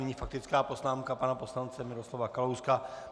Nyní faktická poznámka pana poslance Miroslava Kalouska.